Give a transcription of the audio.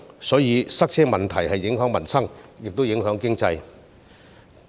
所以，塞車問題既影響民生，也影響經濟。